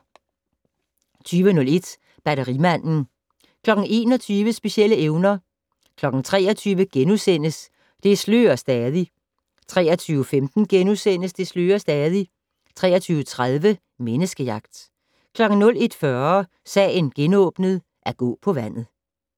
20:01: Batterimanden 21:00: Specielle evner 23:00: Det slører stadig * 23:15: Det slører stadig * 23:30: Menneskejagt 01:40: Sagen genåbnet: At gå på vandet